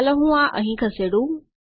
ચાલો હું આ અંહિ ખસેડું